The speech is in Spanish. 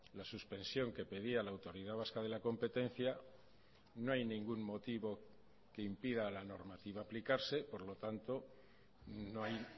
la suspensión que pedía la autoridad vasca de la competencia no hay ningún motivo que impida a la normativa aplicarse por lo tanto no hay